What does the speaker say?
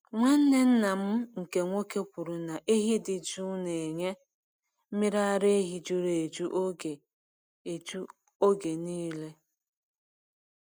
Nwanne nna m nkè nwoke kwuru na ehi dị jụụ na-enye mmiri ara ehi juru eju oge eju oge niile.